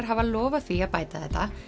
hafa lofað því að bæta þetta